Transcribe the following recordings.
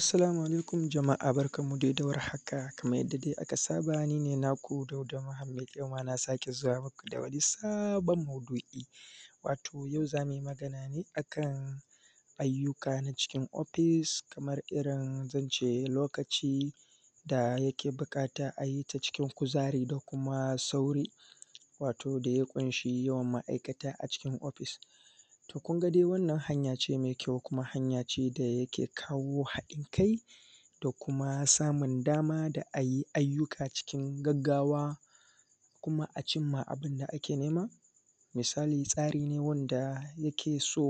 Assalau alaikum jama’a barkan mu dawar haka Kaman yadda dai aka saba nine naku Dauda Muhammad yau ma na sake zuwa muku da wani sabon maudu’i. Wato yau zamuyi Magana ne akan ayyuka na cikin ofis Kaman irrin zance lokaci da yake buƙata a yita cikin kuzari da kuma sauri, wato daya ƙunshi yawan ma’ikataa cikin ofis. To kunga dai wannan hanyace mai kyau kuma hanyace da yake kawo haɗin kai da kuma samun dama da iyyuka cikin gaggawa, kuma cimma abunda ake nema. Misali tsarine wadda yakeso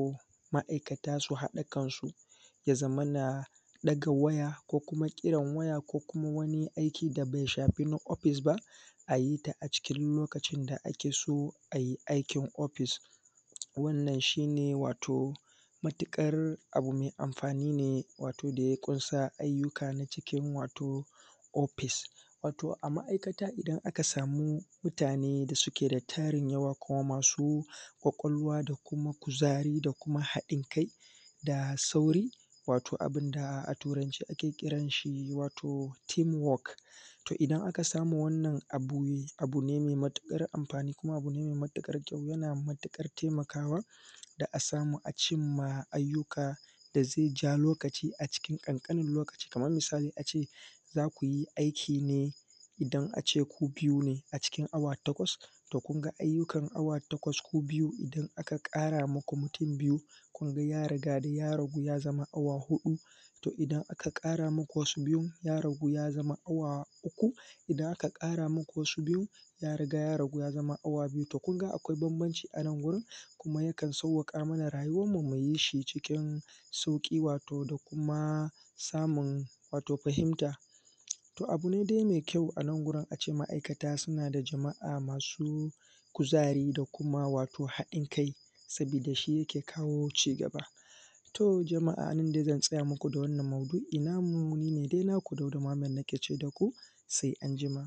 ma’aikata su haɗa kansu yazamana ɗaga waya ko kuma kiran waya ko kuma wani aiki dabai shafena ofis ba ayita a cikin lokacin da akeso ai aikin ofis. wanna shine wato matuƙar abu mai amfanine wato daya kunsa ayyuka na cikin wato ofis, wato a ma’aikata idan aka sami mutane da suke da tarin yawa kuma masu kwakwalwa da kuma kuzari dakuma haɗin kai da sauri wato abinda a turance muke kiranshi da teamwork, to idan aka samu wannan a guri wato abune mai matuƙar amfani kuma bune mai matuƙar kyau, yana matuƙar taimakawa da a ssamu acimman ayyuka dazaija lokaci a cikin ƙanƙanin loaci Kaman misali ace zukyi aikine idan ku biyu a cikin awa takwas to kunga ayyukan awa takwas ku biyun idan aka ƙara muku mutun biyu kunga yarida ya ragu ya zama awa huɗu, kuma idan aka ƙara muku wasu mutun biyu ya ragu ya zama awa biyu to kunga akwai banbanci anan gurin kuma yakan sauƙaƙa mana rayuwan mu muyishi cikin sauƙi wato da kuma samunw wato fahinta. To abune dai mai kyau anangun ace ma’aikata suna da jama’a masu kuzari da kuma haɗin kai saboda shi yake kawo cigaba. To jama’a ni dai zan tsaya muku da wannan maudu’i namu nina naku Dauda Muhammad nake ce muku sai anjima